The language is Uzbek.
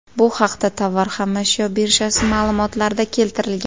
Bu haqda Tovar xom ashyo birjasi ma’lumotlarida keltirilgan .